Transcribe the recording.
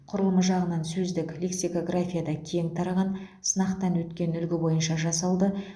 құрылымы жағынан сөздік лексикографияда кең тараған сынақтан өткен үлгі бойынша жасалды